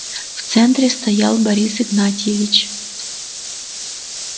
в центре стоял борис игнатьевич